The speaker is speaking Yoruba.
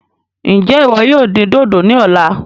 Njẹ iwọ yóò dín dodo ní ọ̀la?